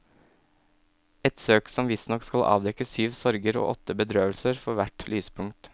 Et søk som visstnok skal avdekke syv sorger og åtte bedrøvelser for hvert lyspunkt.